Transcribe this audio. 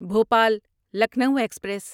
Bhopal Lucknow express